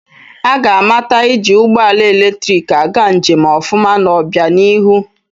Aga amata iji ụgbọala eletiriki aga njem ọfụma n'obịanihu.